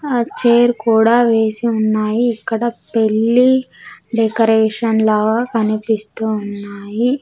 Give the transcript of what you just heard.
ఆ చైర్ కూడా వేసి ఉన్నాయి ఇక్కడ పెళ్లి డెకరేషన్ లాగా కనిపిస్తూ ఉన్నాయి.